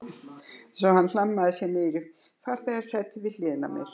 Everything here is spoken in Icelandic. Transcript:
Svo hann hlammaði sér niður í farþegasætið við hliðina á henni